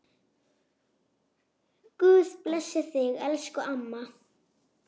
Guð blessi þig, elsku amma.